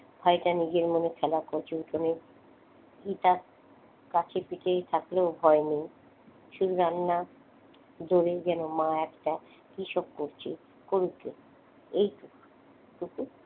ভাইটা নিজের মনে খেলা করছে উঠোনে কাছে পিঠে থাকলেও ভয় নেই শুধু রান্না দূরেই যেন মা একটা কি সব করছে করুক গে। এইটুকু? টুকু?